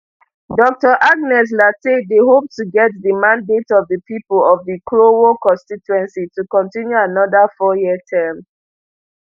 dr agnes lartey dey hope to get di mandate of di pipo of di krowor constituency to continue anoda fouryear term